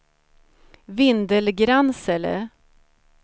Vindelgransele